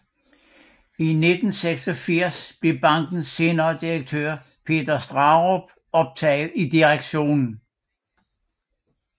I 1986 blev bankens senere direktør Peter Straarup optaget i direktionen